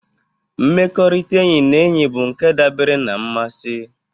Mmekọrịta enyi na enyi bụ nke dabere na mmasị.